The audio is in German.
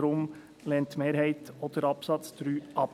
Darum lehnt die Mehrheit auch den Absatz 3 ab.